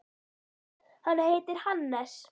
Hann heitir Hannes.